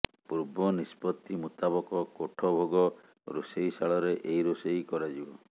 ପୂର୍ବ ନିଷ୍ପତ୍ତି ମୁତାବକ କୋଠଭୋଗ ରୋଷେଇଶାଳରେ ଏହି ରୋଷେଇ କରାଯିବ